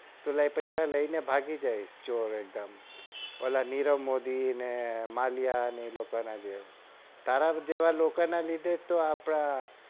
પેલા પૈસા લઈને ભાગી જાય ચોર એક દમ ઓલા નીરવમોદી ને માલીયા ને એ લોકો ની જેમ તારા જેવા લોકો ને લીધે જ તો આપડે